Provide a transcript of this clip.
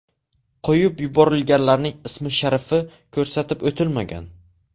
Qo‘yib yuborilganlarning ismi-sharifi ko‘rsatib o‘tilmagan.